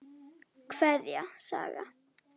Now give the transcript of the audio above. Kveðja, Saga.